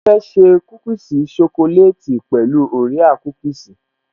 Mo fẹ́ ṣe kúkìsì ṣokoleti pẹ̀lú orea kúkìsì